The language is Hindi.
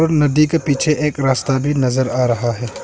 नदी के पीछे एक रास्ता भी नजर आ रहा है।